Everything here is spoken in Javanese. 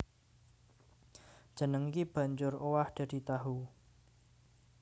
Jeneng iki banjur owah dadi tahu